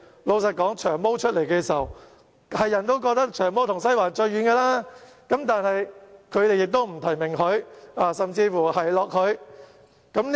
老實說，"長毛"宣布參選時，人人都覺得他與"西環"最遠，但是，反對派卻不提名"長毛"，甚至奚落他。